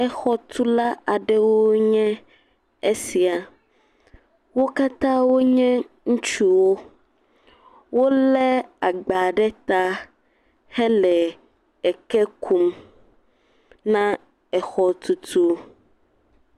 Exɔtula aɖewo nye esia, wò katã wònye ŋutsuwo wò le agba ɖe tã he le eke kum na exɔ tutu.